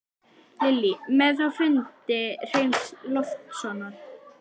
Lillý: Með þá fundi Hreins Loftssonar?